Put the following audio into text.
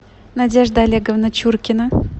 надежда олеговна чуркина